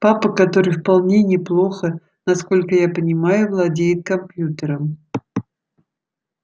папа который вполне неплохо насколько я понимаю владеет компьютером